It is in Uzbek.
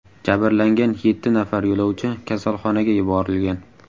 Jabrlangan yetti nafar yo‘lovchi kasalxonaga yuborilgan.